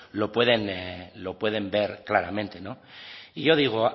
lo pueden ver claramente y yo digo